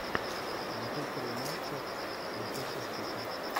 манчестер юнайтед манчестер сити